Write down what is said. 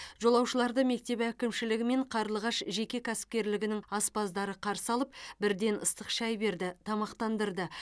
жолаушыларды мектеп әкімшілігі мен қарлығаш жеке кәсіпкерлігінің аспаздары қарсы алып бірден ыстық шай берді тамақтандырды